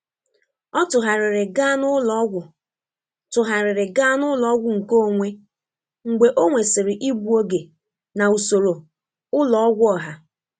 Ọ tụgharịrị gaa n'ụlọọgwụ tụgharịrị gaa n'ụlọọgwụ nkeonwe mgbe ọ nwesịrị igbu oge na usoro ụlọ ọgwụ ọha.